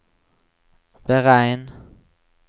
beregn